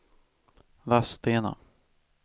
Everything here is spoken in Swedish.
Vadstena